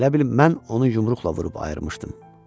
Elə bil mən onun yumruqla vurub ayırmışdım.